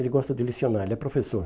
Ele gosta de lecionar, ele é professor.